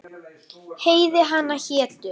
Heiði hana hétu